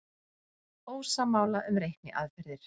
Ósammála um reikniaðferðir